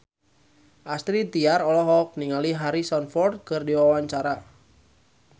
Astrid Tiar olohok ningali Harrison Ford keur diwawancara